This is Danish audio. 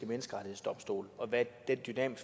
menneskerettighedsdomstol og hvad de i den